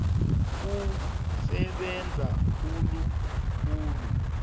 kusebenza khulu khulu